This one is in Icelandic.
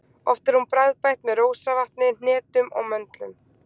Oft er hún bragðbætt með rósavatni, hnetum og möndlum.